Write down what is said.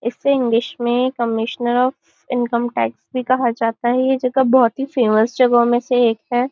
इसे इंग्लिश में commissioner of income tax भी कहा जाता है यह जगह बहुत ही फेमस जगहो में से एक है।